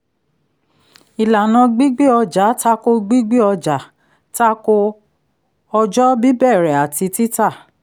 ìlànà gbígbé ọjà tako gbígbé ọjà tako ọjọ́ bíbẹ̀rẹ̀ àti títa